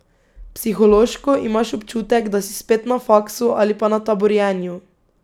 Psihološko imaš občutek, da si spet na faksu ali pa na taborjenju.